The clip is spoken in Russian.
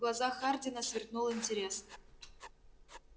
в глазах хардина сверкнул интерес